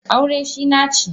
aure shi nace!